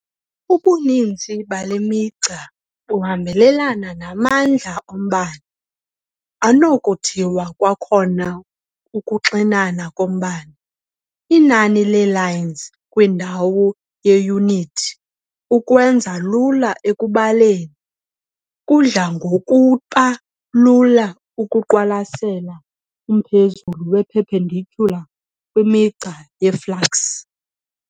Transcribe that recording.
Ubuninzi bale migca buhambelana namandla ombane, anokuthiwa kwakhona ukuxinana kombane- inani le "lines" kwindawo yeyunithi. Ukwenza lula ekubaleni, kudla ngokuba lula ukuqwalasela umphezulu we-perpendicular kwimigca yeflux.